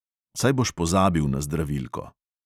Saj boš pozabil na zdravilko.